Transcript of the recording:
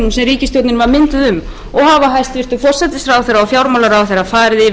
ríkisstjórnin var mynduð um og hafa hæstvirtur forsætisráðherra og fjármálaráðherra farið yfir þau í